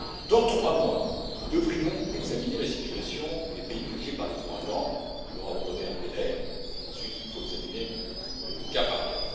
et précis. Dans trois mois, nous devrions examiner la situation des pays touchés par les ouragans nous leur avons donné un délai, il faut ensuite examiner